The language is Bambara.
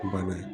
Bana ye